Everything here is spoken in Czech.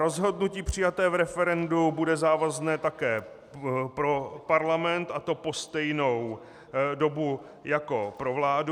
Rozhodnutí přijaté v referendu bude závazné také pro parlament, a to po stejnou dobu jako pro vládu.